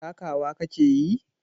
Takawa ka ke yi?